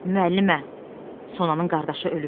Müəllimə, Sonanın qardaşı ölüb.